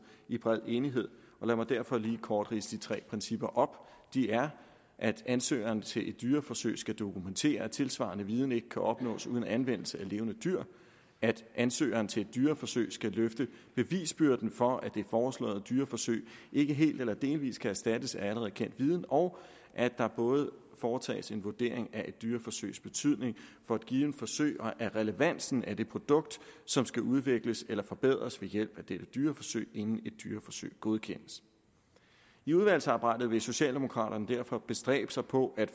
i bred enighed og lad mig derfor lige kort ridse de tre principper op de er at ansøgeren til dyreforsøg skal dokumentere at tilsvarende viden ikke kan opnås uden anvendelse af levende dyr at ansøgeren til et dyreforsøg skal løfte bevisbyrden for at det foreslåede dyreforsøg ikke helt eller delvis kan erstattes af allerede kendt viden og at der både foretages en vurdering af et dyreforsøgs betydning for et givent forsøg og af relevansen af det produkt som skal udvikles eller forbedres ved hjælp af dette dyreforsøg inden et dyreforsøg godkendes i udvalgsarbejdet vil socialdemokraterne derfor bestræbe sig på at